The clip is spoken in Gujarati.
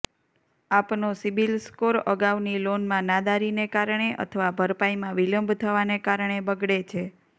આપનો સિબિલ સ્કોર અગાઉની લોનમાં નાદારીને કારણે અથવા ભરપાઇમાં વિલંબ થવાને કારણે બગડે છે